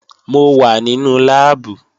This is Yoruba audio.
Mo wà nínú láàbù